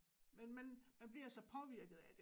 Men man man bliver så påvirket af det